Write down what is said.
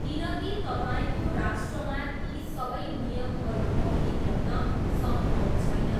किनकी तपाईँको राष्ट्रमा ती सबै नियमहरू अघि ल्याउन सम्भव छैन।